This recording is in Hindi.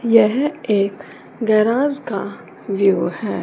यह एक गैराज का व्यू है।